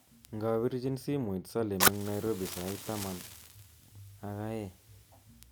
Ngabirchin simoit Salim eng Nairobi sait taman ak ae